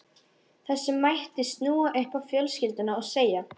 Þessu mætti snúa upp á fjölskylduna og segja